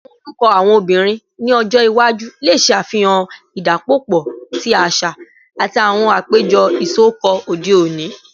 Awọn orukọ awọn obinrin ni ọjọ iwaju le ṣe afihan idapọpọ ti aṣa ati awọn apejọ isọkọ ode oni